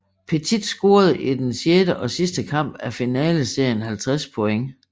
Pettit scorede i den sjette og sidste kamp af finale serien 50 point